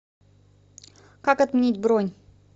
как отменить бронь